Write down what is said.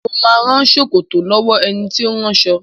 Mo ma rán ṣòkòtò lọ́wọ́ ẹni tí ó ń ránṣọ